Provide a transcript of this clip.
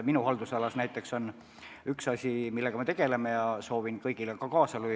Minu haldusalas näiteks on üks asi, millega me tegeleme ja milles ma soovitan kõigil kaasa lüüa.